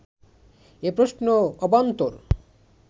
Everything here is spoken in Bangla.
এ প্রশ্ন অবান্তর